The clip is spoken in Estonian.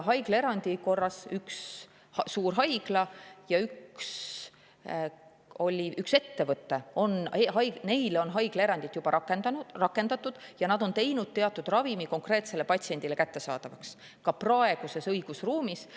Haiglaerandi korras on ühele suurhaiglale ja ühele ettevõttele juba haiglaerandit rakendatud ja nad on teinud teatud ravimi konkreetsele patsiendile kättesaadavaks ka praeguses õigusruumis.